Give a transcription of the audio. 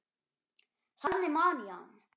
Þannig man ég hann.